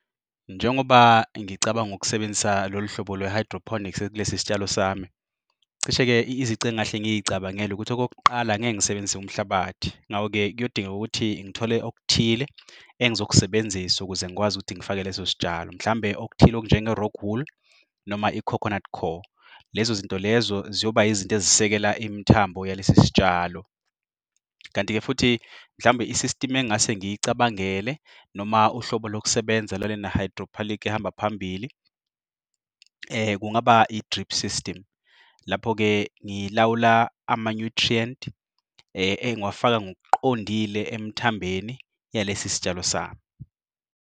Njengoba ngicabanga ukusebenzisa lolu hlobo lwe-hydroponics kulesi sitshalo sami. Cishe-ke izici engahle ngiy'cabangela ukuthi okok'qala angeke ngisebenzise umhlabathi. Ngako-ke kuyodingeka ukuthi ngithole okuthile engizokusebenzisa ukuze ngikwazi ukuthi ngifake lesos'tshalo. Mhlawumbe okuthile okunjengo-rockwool noma i-coconut coir. Lezozinto lezo ziyoba izinto ezisekela imithambo yalesi sitshalo. Kanti-ke futhi mhlawumbe i-system engase ngiyicabangele, noma uhlobo lokusebenza hydroponic ehamba phambili, kungaba i-drip system. Lapho-ke ngilawula ama-nutrient engiwafaka ngokuqondile emthambeni yalesi sitshalo sami.